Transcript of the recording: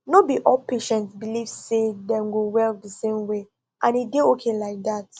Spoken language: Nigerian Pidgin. no be all patients believe sey dem go well the same way and e dey okay like that